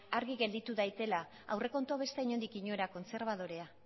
argi gelditu daiteztela aurrekontu hau ez da inondik inora kontserbadorea